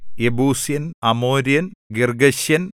യെബൂസ്യൻ അമോര്യൻ